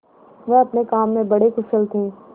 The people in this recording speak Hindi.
वह अपने काम में बड़े कुशल थे